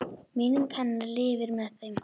Minning hennar lifir með þeim.